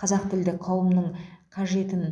қазақ тілді қауымның қажетін